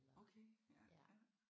Okay ja ja